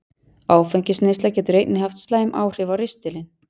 Áfengisneysla getur einnig haft slæmt áhrif á ristilinn.